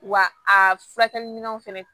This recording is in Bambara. Wa a furakɛli minɛnw fɛnɛ